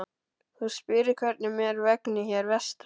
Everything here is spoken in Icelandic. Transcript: Þú spyrð hvernig mér vegni hér vestra.